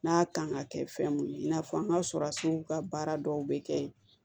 N'a kan ka kɛ fɛn mun ye i n'a fɔ an ga sɔrɔ a sow ka baara dɔw bɛ kɛ yen